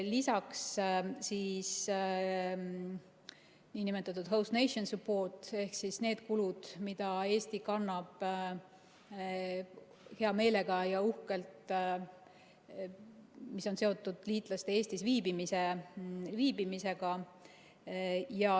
Lisaks on nn Host Nation Support ehk need kulud, mida Eesti kannab hea meelega ja uhkelt, mis on seotud liitlaste Eestis viibimisega.